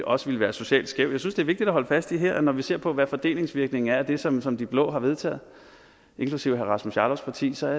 også ville være socialt skævt jeg synes det er vigtigt at holde fast i at når vi ser på hvordan fordelingsvirkningen er af det som som de blå partier har vedtaget inklusive herre rasmus jarlovs parti så er